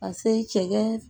Ka se cɛ